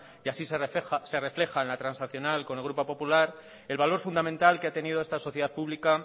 y así se refleja en la transaccional con el grupo popular el valor fundamental que ha tenido esta sociedad pública